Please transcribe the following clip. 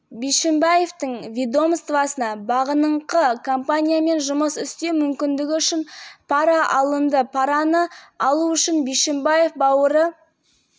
қылмыстық істі тергеу барысында оның ағасының шоттарында миллион доллары мөлшерінде пара анықталды оған қатысты бұлтартпау шарасын